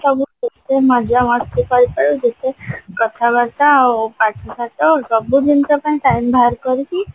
ସବୁ ଖୁସି ମଜା ମସ୍ତି ସହିତ ଯେତେ କଥାବାର୍ତା ଆଉ ପାଠ ସାଠ ସବୁ ଜିନିଷ ପାଇଁ time ବାହାର କରିକି